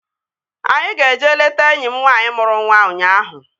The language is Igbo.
Anyị ga-eje leta enyi m nwaanyị mụrụ nwa ụnyaahụ